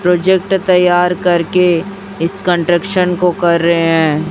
Project तैयार कर के इस कंस्ट्रक्शन को कर रहे हैं।